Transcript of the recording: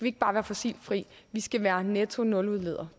ikke bare være fossilfri vi skal være nettonuludledere